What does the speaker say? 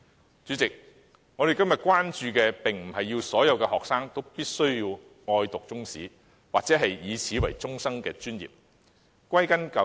代理主席，我們不是要求所有學生都喜愛讀中史或以此為終生專業。